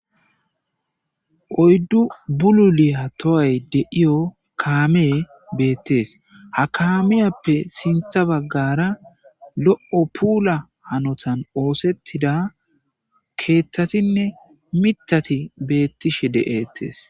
Oyddu bululi ha tohay deiyo kaamee beettees ha kaamiyappe sintha baggara lo7o puula hanotan oosettida keethtatinne mitati beettishe de'eettes.